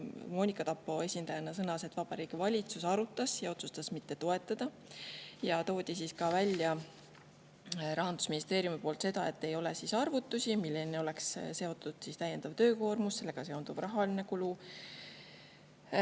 esindaja Monika Tappo sõnas, et Vabariigi Valitsus arutas ja otsustas seda mitte toetada ning et Rahandusministeeriumi poolt toodi välja, et ei ole arvutusi, milline oleks sellega seonduv täiendav töökoormus ja rahaline kulu.